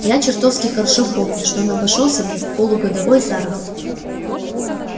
а я чертовски хорошо помню что он обошёлся мне в полугодовой заработок